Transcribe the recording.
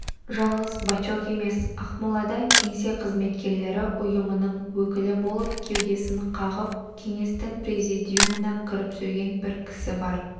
жалғыз бачок емес ақмолада кеңсе қызметкерлері ұйымының өкілі болып кеудесін қағып кеңестің президиумына кіріп жүрген бір кісі бар